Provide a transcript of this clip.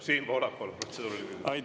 Siim Pohlak, palun, protseduuriline küsimus!